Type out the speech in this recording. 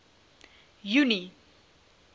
junie